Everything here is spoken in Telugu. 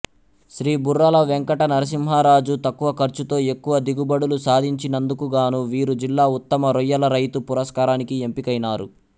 శ్రీ బుర్రల వెంకటనరసింహరాజు తక్కువ ఖర్చుతో ఎక్కువ దిగుబడులు సాధించినందుకుగాను వీరు జిల్లా ఉత్తమ రొయ్యల రైతు పురస్కారానికి ఎంపికైనారు